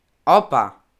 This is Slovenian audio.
Opa!